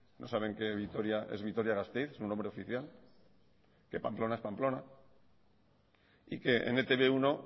no saben que vitoria es vitoria gasteiz su nombre oficial que pamplona es pamplona y que en e te be uno